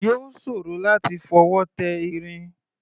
Yóò ṣòro láti fọwọ́ tẹ irin.